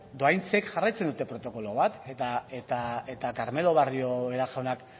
dohaintzek jarraitzen dute protokolo bat eta carmelo barrio jaunak